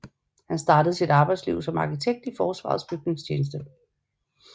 Han startede sit arbejdsliv som arkitekt i Forsvarets Bygningstjeneste